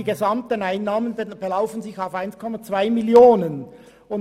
Die gesamten Einnahmen belaufen sich auf 1,2 Mio. Franken.